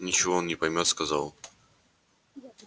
ничего он не поймёт сказал